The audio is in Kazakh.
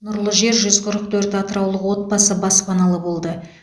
нұрлы жер жүз қырық төрт атыраулық отбасы баспаналы болды